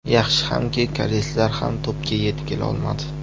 Yaxshi hamki, koreyslar ham to‘pga yetib kela olmadi.